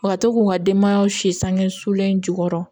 U ka to k'u ka denbaya si sange sulen jukɔrɔ